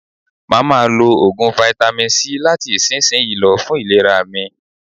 Mà á ma lo Ògùn fáítámì C láti ìsinsìnyí lọ, fún ìlera mi.